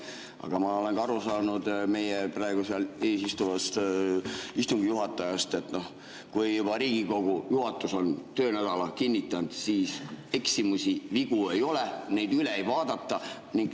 Aga ma olen aru saanud praegu meie ees istuvast istungi juhatajast, et kui juba Riigikogu juhatus on töönädala kinnitanud, siis eksimusi, vigu ei ole, neid üle ei vaadata.